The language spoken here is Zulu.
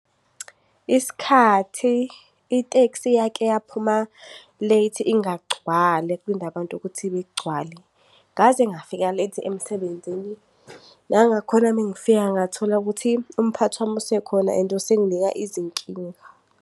Isikhathi itekisi eyake yaphuma late ingagcwali kulinde abantu ukuthi igcwale, ngaze ngafika late emsebenzini. Nanakhona uma ngifika, ngathola ukuthi umphathi wami usekhona and usenginika izinkinga.